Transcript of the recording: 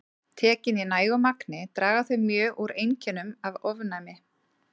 Tekin í nægu magni draga þau mjög úr einkennum af ofnæmi.